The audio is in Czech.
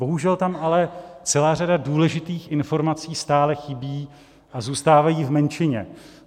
Bohužel tam ale celá řada důležitých informací stále chybí a zůstávají v menšině.